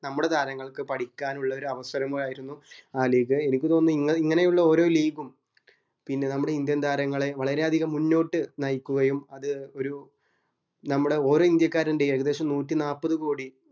നമ്മുടെ താരങ്ങൾക് പഠിക്കാൻ ഇള്ള ഒരു അവസരങ്ങൾ ആയിരുന്നു ആ league എനിക്ക് തോന്നുന്നു ഇങ്ങ അതിങ്ങനെയുള്ള ഓരോ league ഉം പിന്നെ നമ്മുടെ indian താരങ്ങളെ വളരെയധികം മുന്നോട്ട് നയിക്കുകയും അത് ഒരു നമ്മുടെ ഓരോ ഇന്ത്യക്കാരന്റെയും ഏകദേശം നൂറ്റി നാപ്പത് കോടി